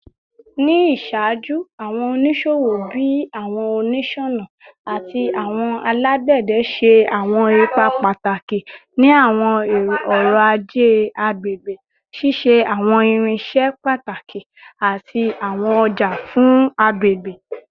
Ni iṣaaju, awọn oniṣowo bii awọn oniṣọna ati awọn alagbẹdẹ ṣe awọn ipa pataki ni awọn ọrọ-aje agbegbe, ṣiṣe awọn irinṣẹ pataki ati awọn ọja fun agbegbe